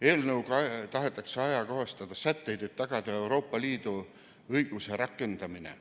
Eelnõuga tahetakse ajakohastada sätteid, et tagada Euroopa Liidu õiguse rakendamine.